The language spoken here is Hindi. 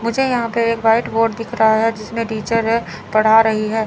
मुझे यहां पर एक व्हाइट बोर्ड दिख रहा है जिसमें टीचर है पढ़ा रही है।